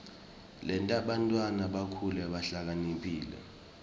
yenta bantfwana bakhule bahlakaniphile